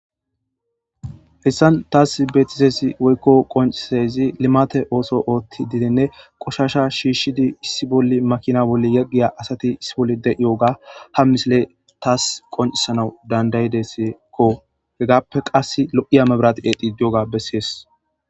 Hessan taas beetisesi woykko qonciayzi limate ooso ootti didenne qoshasha shiishshidi issi bolli makina bolle yaggiya asati issi bolli de'iyooga ha misile taas qoncisanau dandayidesekko hegappe qass lo'iya mebrati eedi diyoga bessees.